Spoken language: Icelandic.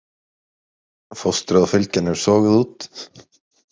Fóstrið og fylgjan eru soguð út.